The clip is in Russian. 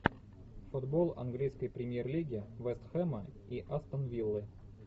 футбол английской премьер лиги вест хэма и астон виллы